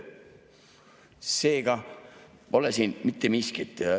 Seega pole siin mitte miskit.